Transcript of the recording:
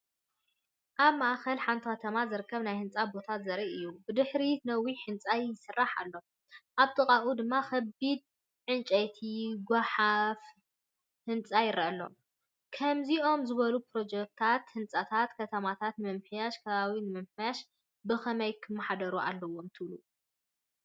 ኣብ ማእከል ሓንቲ ከተማ ዝርከብ ናይ ህንጻ ቦታ ዘርኢ እዩ። ብድሕሪት ነዊሕ ህንጻ ይስራሕ ኣሎ፡ ኣብ ጥቓኡ ድማ ከቢድ ዕንጨይትን ጐሓፍ ህንጻን ይርአዩ። ከምዚኦም ዝበሉ ፕሮጀክትታት ህንፀት ከተማታት ንምምሕያሽን ከባቢ ንምሕላውን ብኸመይ ክመሓደሩ ኣለዎም ትብሉ?